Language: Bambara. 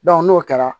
n'o kɛra